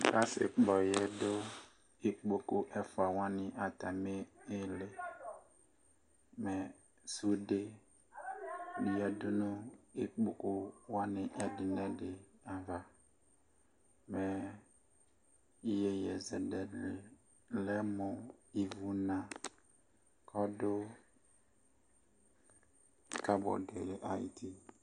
Asi kpɔyɛ dʋ ikpoku ɛfua wani atami iiliMɛ sude yadu nu ikpoku wani ɛdi nu ɛdi'avaMɛ yeye zɛlɛ dini lɛ mu ivuna ɔdu kabɔdu yɛ ayiʋ uti